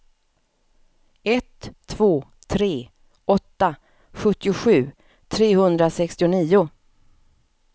ett två tre åtta sjuttiosju trehundrasextionio